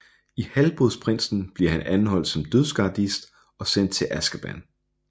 I Halvblodsprinsen bliver han anholdt som Dødsgardist og sendt til Azkaban